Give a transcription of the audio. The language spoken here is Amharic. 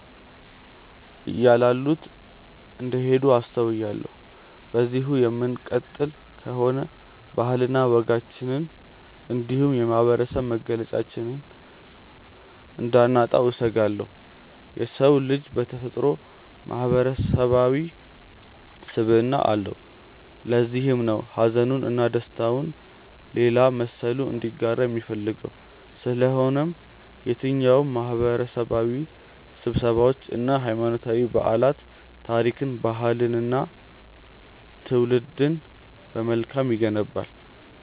እያላሉት እንደሄዱ አስተውያለሁ። በዚሁ የምንቀጥል ከሆነ ባህልና ወጋችንን እንዲሁም የማህበረሰብ መገለጫችንን እንዳናጣው እሰጋለሁ። የሰው ልጅ በተፈጥሮው ማህበረሰባዊ ስብዕና አለው። ለዚህም ነው ሀዘኑን እና ደስታውን ሌላ መሰሉ እንዲጋራው የሚፈልገው። ስለሆነም የትኛውም ማህበረሰባዊ ስብሰባዎች እና ሀይማኖታዊ በዓላት ታሪክን፣ ባህልንን እና ትውልድን በመልካም ይገነባል።